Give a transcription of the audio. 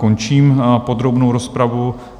Končím podrobnou rozpravu.